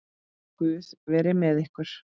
Guð veri með ykkur.